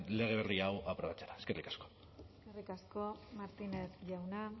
lege berri hau aprobatzera eskerrik asko eskerrik asko martínez jauna